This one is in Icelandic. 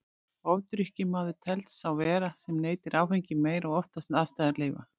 Ofdrykkjumaður telst sá vera sem neytir áfengis meira og oftar en aðstæður hans leyfa.